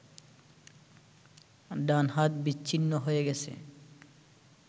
ডান হাত বিচ্ছ্ন্নি হয়ে গেছে